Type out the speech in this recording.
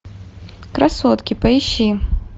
красотки поищи